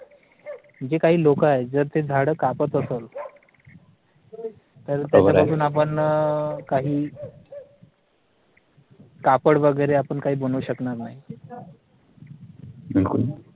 जी काही लोक आहेत जर ती झाड कापत असलं तर त्याला बरोबर घेऊन आपण अं काही कापड वगैरे आपण काही बनवू शकणार नाही